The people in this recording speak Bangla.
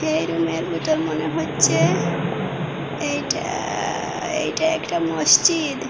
এই রুমে র বিতর মনে হচ্ছে এইটা আ-আ এইটা একটা মসজিদ।